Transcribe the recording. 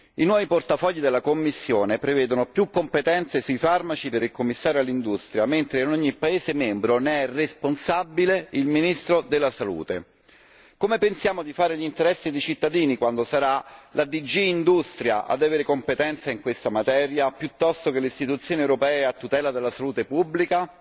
I nuovi portafogli della Commissione prevedono più competenze sui farmaci per il Commissario all'industria, mentre in ogni paese membro ne è responsabile il ministro della Salute. Come pensiamo di fare gli interessi dei cittadini quando sarà la DG Industria ad avere competenza in questa materia piuttosto che l'Istituzione europea a tutela della salute pubblica?